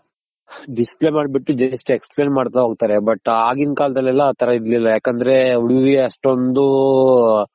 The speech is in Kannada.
Display ಮಾಡ್ ಬಿಟ್ಟು just Explain ಮಾಡ್ತಾ ಹೋಗ್ತಾರೆ but ಆಗಿನ್ ಕಲ್ದಾಲೆಲ್ಲ ಆ ತರ ಇರ್ಲಿಲ್ಲ ಯಾಕಂದ್ರೆ ಅಷ್ಟೊಂದ್